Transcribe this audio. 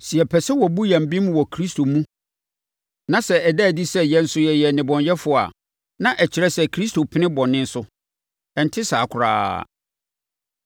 “Sɛ yɛpɛ sɛ wɔbu yɛn bem wɔ Kristo mu na sɛ ɛda adi sɛ yɛn nso yɛyɛ nnebɔneyɛfoɔ a, na ɛkyerɛ sɛ Kristo pene bɔne so? Ɛnte saa koraa.